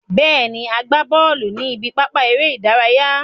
Bẹ́ẹ̀ ni, a gbá bọ́ọ̀lù ní ibi pápá eré ìdárayá.